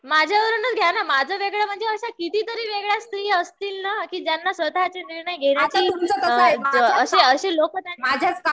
माझ्यावरणच घ्या ना. माझं वेगळं म्हणजे अशा किती तरी वेगळ्या स्त्रिया असतील ना ज्यांना स्वतःचे निर्णय घेण्याची अशी